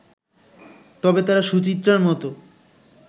তবে তারা সুচিত্রার মতো